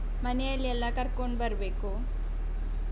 ಮನೆಯಲ್ಲಿ ಎಲ್ಲ ಕರ್ಕೊಂಡು ಬರ್ಬೇಕು.